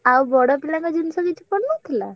ଆଉ ବଡ ପିଲାଙ୍କ ଜିନିଷ କିଛି ପଡିନଥିଲା?